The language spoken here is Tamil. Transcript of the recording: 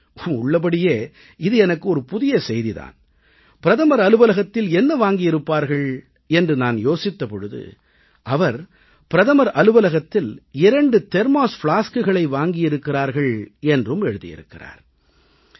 உள்ளபடியே இது எனக்கு ஒரு புதிய செய்தி தான் பிரதமர் அலுவலகத்தில் என்ன வாங்கியிருப்பார்கள் என்று நான் யோசித்த பொழுது அவர் பிரதமர் அலுவலகத்தில் 2 தெர்மாஸ் பிளாஸ்குகளை வாங்கியிருக்கிறார்கள் என்றும் எழுதியிருக்கிறார்